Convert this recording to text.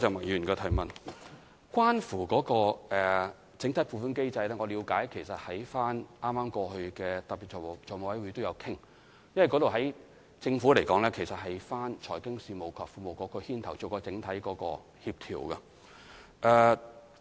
有關整體撥款機制，我了解到在剛過去的特別財務委員會上，我們也曾討論此事，而在政府架構中，這是由財經事務及庫務局牽頭負責整體協調的。